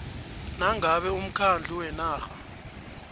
nangabe umkhandlu wenarha